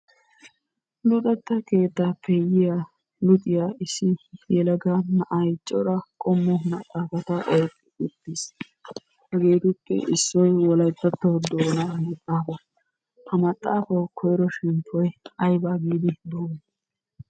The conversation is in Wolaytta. Luxetta keettaappe yiya luxiya issi yelaga na'ay cora qommo maxxaafata oyiqqi uttis. Hegeetuppe issoy wolayittatto doonaa maxxaafaa. Ha maxxaafawu koyiro shemppoy ayiba giidi doommi?